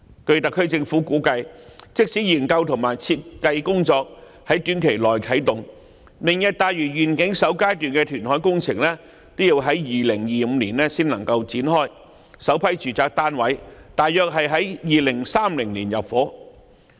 據特區政府估計，即使研究和設計工作在短期內啟動，"明日大嶼願景"首階段的填海工程也要在2025年才能夠展開，首批住宅單位約於2030年入伙。